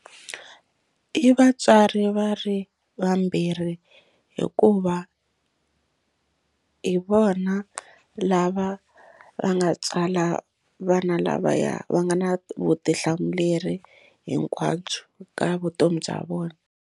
I vatswari va ri vambirhi hikuva hi vona lava va nga tswala vana lavaya va nga na vutihlamuleri hinkwabyo ka vutomi bya vona.